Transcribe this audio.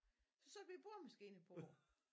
Så satte vi æ boremaskine på